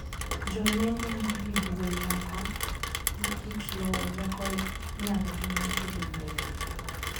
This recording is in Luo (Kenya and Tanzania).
Jolony noyango`ni duol moko, gi kit lowo loko nyalogi mar kelo yiengni.